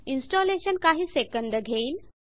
installation काही second घेईल